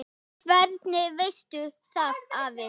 Hvernig veistu það afi?